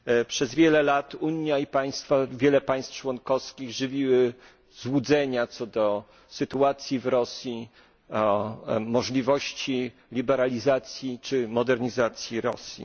Przez wiele lat Unia i wiele państw członkowskich żywiły złudzenia co do sytuacji w Rosji, możliwości liberalizacji czy modernizacji Rosji.